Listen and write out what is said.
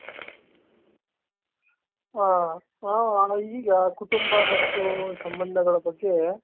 ಹ್ಮ ಈಗ ಕುಟುಂಬ ಮತ್ತು ಸಂಬಂಧಗಳ ಬಗ್ಗೆ.